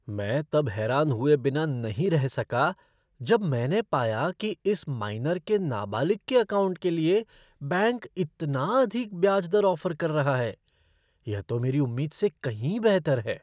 मैं तब हैरान हुए बिना नहीं रह सका जब मैंने पाया कि इस माइनर के नाबालिग के अकाउंट के लिए बैंक इतना अधिक ब्याज दर ऑफ़र कर रहा है! यह तो मेरी उम्मीद से कहीं बेहतर है।